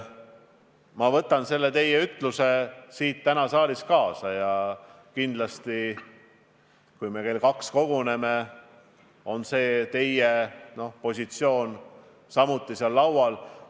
Ma võtan selle teie ütluse täna siit saalist kaasa ja kui me kell kaks koguneme, on teie positsioon samuti laual.